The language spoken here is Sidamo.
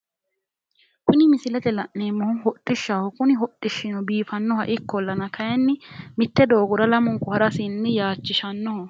Kuni misilete la'neemmohu hodhishshaho kuni hodhishshino biifannoha ikkollana kayinni mitte doogora lamunku harasinni yaachishshannoho.